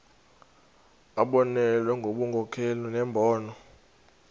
abonelele ngobunkokheli nembono